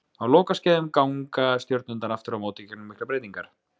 Á lokaskeiðum ganga stjörnurnar aftur á móti gegnum miklar breytingar.